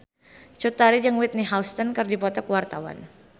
Cut Tari jeung Whitney Houston keur dipoto ku wartawan